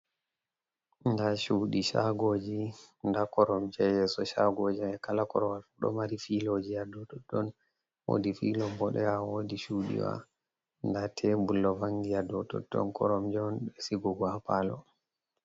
Nda chuɗi shagoji da koromje hayeso shagoji. Kala korwal fu ɗo mari filojiya ha dou totton. Wodi filo boɗewa wodi chuɗiwa, nda tebul ɗon vangi ha dou totton Koromje'on ɗe Sigugo ha Palo.